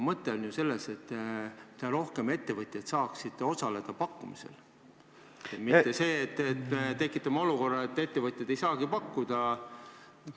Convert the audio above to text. Mõte on ju selles, et pakkumisel saaks osaleda pigem rohkem ettevõtjaid, mitte selles, et tekitame olukorra, kus ettevõtjad ei saagi pakkuda.